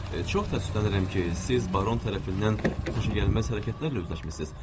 Çox təəssüflənirəm ki, siz baron tərəfindən xoşagəlməz hərəkətlərlə üzləşmisiniz.